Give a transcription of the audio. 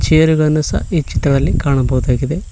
Chair ಗಳನ್ನು ಸಹ ಈ ಚಿತ್ರದಲ್ಲಿ ಕಾಣಬಹುದಾಗಿದೆ.